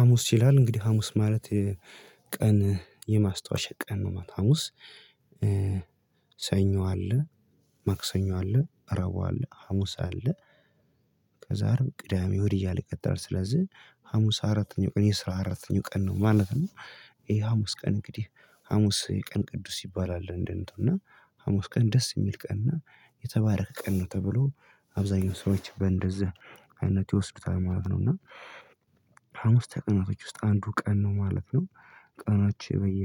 ሀሙስ ይላል። እንግዲህ ሀሙስ ማለት የቀን የማስታወሻ ቀን ነው። ሀሙስ ሰኞ አለ፣ ማክሰኞ አለ፣ ረቡ አለ፣ ሀሙስ አለ፣ ከዛር ቅዳሜ፣ እሁድ እያለ ይቅጥላል። ስለዚህ ሀሙስ አራተኛው ቀን የስራ አራተኛው ቀን ነው። ማለት ነው ይሄ ሀሙስ ቀን እንግዲህ ሀሙስ የቀን ቅዱስ ይባላል። እንደነቱ እና ሀሙስ ቀን ደስ የሚል ቀን። እና የተባረከ ቀን ነው ተብሎ አብዛኛው ሰዎች በእንደዛ አይነት ይወስዱታል። ማለት ነው። እና ሀሙስ ተቀናቶች ውስጥ አንዱ ቀን ነው። ማለት ነው ቀኖች በየ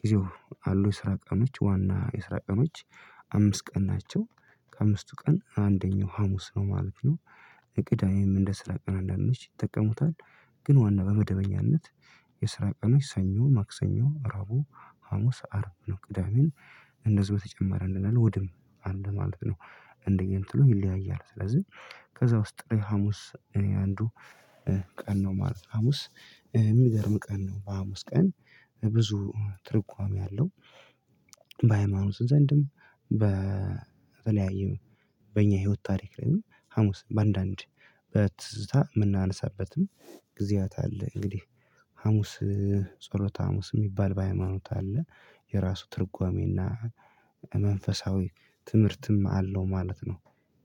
ጊዜው አሉ የስራ ቀኖች ዋና የስራ ቀኖች አምስት ቀን ናቸው። ከአምስቱ ቀን አንደኛው ሀሙስ ነው ማለት ነው። የቅዳዬም እንደ ስራ ቀን አንዳንዶች ይጠቀሙታል። ግን ዋና በመደበኛነት የስራ ቀኖች ሰኞ፣ ማክሰኞ፤ ረቡ፣ ሀሙስ፣ አርብ እና ቅዳሜን እንደዚህ በተጨማሪ አለ ወድም አንድ ማለት ነው። እንደነ እንትኑ ይለያያል። ስለዚህ ከዛ ውስጥ ሀሙስ እኔ አንዱ ቀን ማለት ነው። ሀሙስ የሚደርም ቀን ነው በሀሙስ ቀን ብዙ ትርጓሜ አለው። በሃይማኖት ዘንድም በተለያዩ በእኛ ህይወት ታሪክ ላይ ሀሙስ በአንዳንድ በትዝታ የምናነሳበትም ጊዜያት አለ። እንግዲህ ሀሙስ ጸሎተ ሀሙስ የሚባል በሃይማኖት አለ የራሱ ትርጓሜና መንፈሳዊ ትምህርትም አለው። ማለት ነው።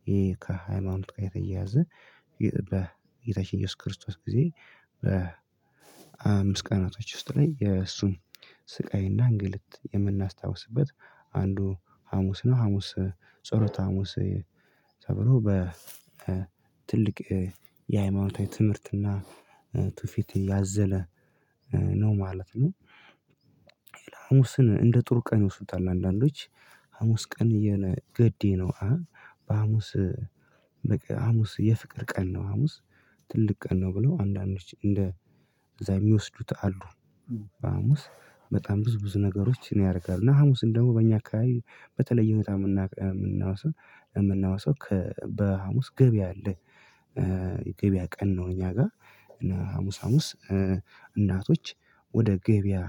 ይሄ ከሃይማኖት ቀን የተያዘ በጌታችን ኢየሱስ ክርስቶስ ጊዜ በምስት ቀናቶዎች ውስጥ ላይ የእሱን ስቃይና እንግልት የምናስታውስበት አንዱ ሀሙስ ነው። ሀሙስ ጾሎተ ሀሙስ ተብሎ በትልቅ የሃይማኖታዊ ትምህርትና ቱፊት ያዘለ ነው። ማለት ነው ሀሙስን እንደ ጥሩ ቀን ይወስዱታል። አንዳንዶች ሀሙስ ቀን የነ ገዴ ነው። በሀሙስ በቃ ሀሙስ የፍቅር ቀን ነው። ሀሙስ ትልቅ ቀን ነው። ብለው አንዳንዶች እንደ እዛ የሚወስዱት አሉ። በሐሙስ በጣም ብዙ ብዙ ነገሮች ነው ያደርጋል። እና ሀሙስ እንደው በእኛ አካባቢ በተለየ ሁኔታ የምና የምናወሳው የምናወሳው ከ በሀሙስ ገበያ አለ። ገበያ ቀን ነው እኛ ጋር እና ሀሙስ ሀሙስ እናቶች ወደ ገበያ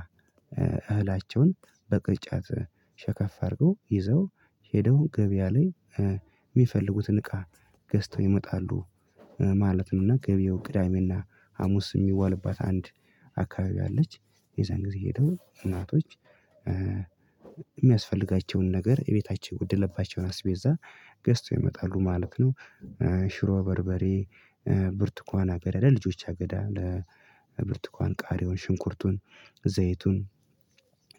እህላቸውን በቅርጫት ሸከፍ አድርገው ይዘው ሄደው ገበያ ላይ የሚፈልጉትን እቃ ገዝተው ይመጣሉ። ማለት ነውና ገቢው ግዳሜና ሀሙስ የሚዋልባት አንድ አካባቢ አለች። የዛን ጊዜ ሄደው እናቶች የሚያስፈልጋቸውን ነገር እቤታቸው ወደለባቸው አስቤዛ ገዝተው ይመጣሉ። ማለት ነው ሽሮ፣ በርበሬ፣ ብርቱካን፣ አገዳ ለልጆች አገዳ አለ። ብርቱካን፣ ቃሪውን፣ ሽንኩርቱን፣ ዘይቱን፣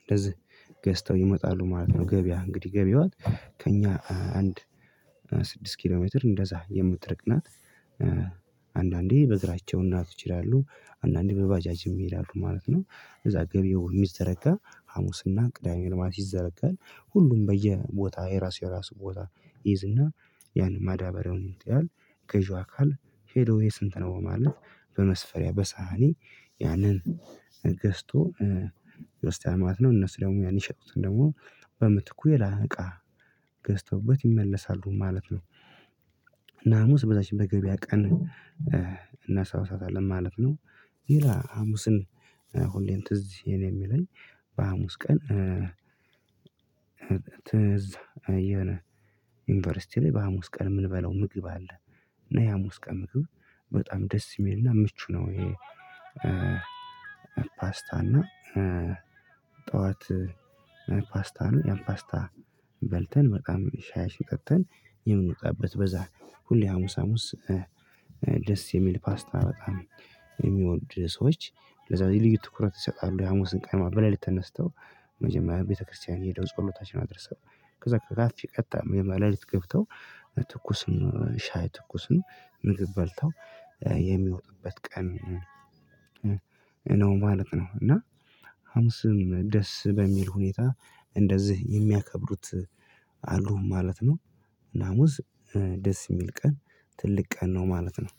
እንደዚህ ገዝተው ይመጣሉ። ማለት ነው ገበያ እንግዲህ ገበያዎች ከእኛ አንድ ስድስት ኪሎ ሜትር እንደዛ የምትርቅ ናት። አንዳንዴ በግራቸው እናት ይችላሉ። አንዳንዴ በባጃጅ የሚሄድ አሉ። ማለት ነው እዛ ገቢው የሚዘረጋ ሀሙስና ቅዳሜ ነው ማት ይዘረጋል። ሁሉም በየቦታ የራሱ የራሱ ቦታ ይይዝና ያንን ማዳበሪያውን ይውጣል ገዢው አካል ሄዶ የስንት ነው ማለት በመስፈሪያ በሳህኒ ያንን ገዝቶ ውስጤ አማት ነው እነሱ ደግሞ ያን ይሸጡት ደግሞ በምትኩ ሌላ እቃ ገዝተውበት ይመለሳሉ ማለት ነው። እና ሀሙስ በዛችን በገበያ ቀን እናሳውሳታለን። ማለት ነው ሌላ ሀሙስን ሁሌን ትዝ የኔ የሚለኝ በሀሙስ ቀን ትዝ የነ ዩኒቨርሲቲ ላይ በሃሙስ ቀን የምንበለው ምግብ አለ። እና የሃሙስ ቀን ምግብ በጣም ደስ የሚልና ምቹ ነው። ይሄ ፓስታና ጠዋት ፓስታ አለ። ያን ፓስታ በልተን በጣም ሻይሽ ጠጥተን የምንወጣበት በዛ ሁሌ ሀሙስ ሀሙስ ደስ የሚል ፓስታ በጣም የሚወድ ሰዎች ለዛ በዚህ ልዩ ትኩረት ይሰጣሉ። የሀሙስን ቀን ማ በሌሊት ተነስተው። መጀመሪያ ቤተክርስቲያን ሄደው ጸሎታቸውን አድረሰው ከዛ ቀጥታ ላይ ለሊት ገብተው ትኩስን ሻይ ትኩስን ምግብ በልተው የሚወጡበት ቀን ነው። ማለት ነው። እና ሀሙስም ደስ በሚል ሁኔታ እንደዚህ የሚያከብሩት አሉ ማለት ነው። ናሙዝ ደስ የሚል ቀን ትልቅ ቀን ነው። ማለት ነው